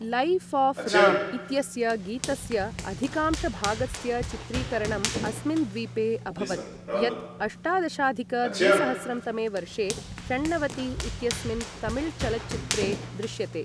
Life of Ram इत्यस्य गीतस्य अधिकांशभागस्य चित्रीकरणं अस्मिन् द्वीपे अभवत्, यत् अष्टादशाधिक द्विसहस्रं तमे वर्षे 'षण्णवति इत्यस्मिन् तमिलचलच्चित्रे दृश्यते।